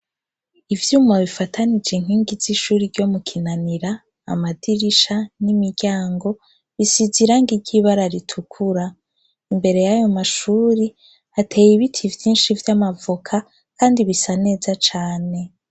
Ivyuma bifatanij' inkingi z' ishure ryo mu kinanira, amadirisha n' imiryango bisiz' irangi ry'ibara ritukura, imbere yayo mashure hatey' ibiti vyinshi vyamavoka kandi bisa neza cane.